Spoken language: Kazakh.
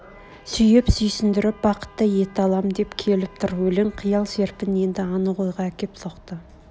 сүйіп сүйсндіріп бақытты ете алам деп келіп тұр өлең қиял серпін енді анық ойға әкеп соқты